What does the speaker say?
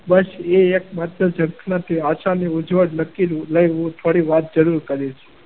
બસ એક માત્ર ઝંખનાથી